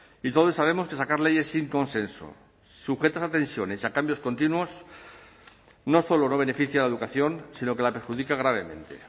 y todos sabemos que sacar leyes sin consenso sujetas a tensiones y a cambios continuos no solo no beneficia a la educación sino que la perjudica gravemente